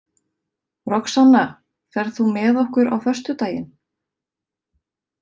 Roxanna, ferð þú með okkur á föstudaginn?